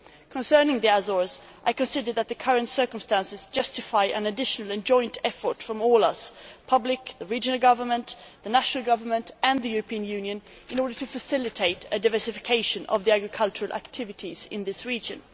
Concerning the Azores, I consider that the current circumstances justify an additional and joint effort from all of us the public, regional governments, national governments and the European Union in order to facilitate a diversification of the agricultural activities in this region.